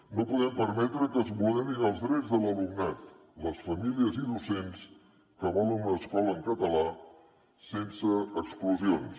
no podem permetre que es vulnerin els drets de l’alumnat les famílies i els docents que volen una escola en català sense exclusions